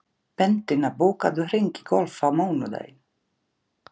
Bentína, bókaðu hring í golf á mánudaginn.